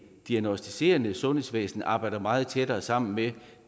diagnosticerende sundhedsvæsen arbejder meget tættere sammen med